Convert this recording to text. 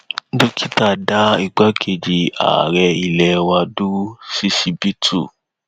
dókítà dá igbákejì ààrẹ ilé wa dúró ṣíṣíbítú